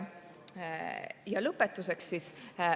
Ja lõpetuseks.